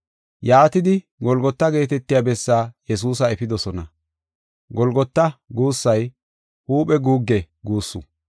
Yaatidi Golgota geetetiya bessaa Yesuusa efidosona. “Golgota” guussay “Huuphe guugge” guussu.